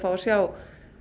að sjá